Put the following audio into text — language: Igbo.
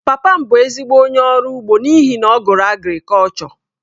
Papa m bụ ezigbo onye ọrụ ugbo n’ihi na ọ gụrụ agrikọlchọ..